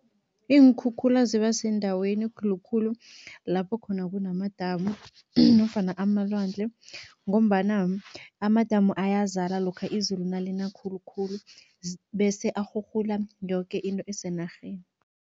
Iinkhukhula ziba sendaweni khulukhulu lapho khona kunamadamu nofana amalwandle ngombana amadamu ayazala lokha izulu nalina khulukhulu bese arhurhula yoke into esenarheni.